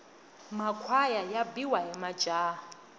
makhwaya ya biwa hi majaha